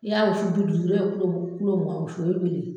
I y'a wusu du duuru i ye mugan wusu o ye joli ye.